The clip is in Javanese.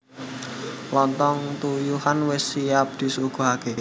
Lonthong tuyuhan wis siap disuguhake